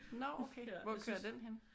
Nå okay. Hvor kører den henne?